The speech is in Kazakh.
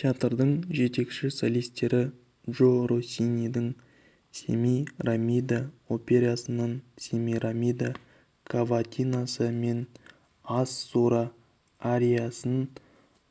театрдың жетекші солистері джо россинидің семирамида операсынан семирамида каватинасы мен ассура ариясын